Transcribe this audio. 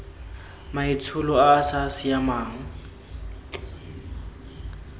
maitsholo a a sa siamang